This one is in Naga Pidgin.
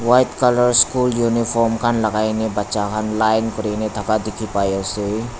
white colour school uniform khan lakaikena bacha khan line kurikena dekhi ase.